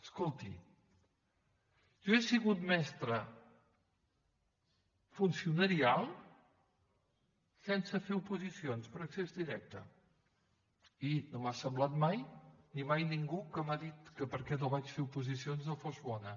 escolti jo he sigut mestra funcionarial sense fer oposicions per accés directe i no m’ha semblat mai ni mai ningú m’ha dit que perquè no vaig fer oposicions no fos bona